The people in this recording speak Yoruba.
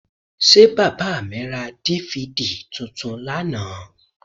Ṣé bàbà mi ra DVD tuntun lánàá?